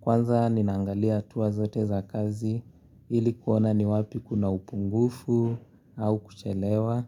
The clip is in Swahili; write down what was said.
kwanza ninaangalia hatua zote za kazi ili kuona ni wapi kuna upungufu au kuchelewa.